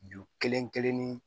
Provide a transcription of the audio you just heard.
Ju kelen kelennin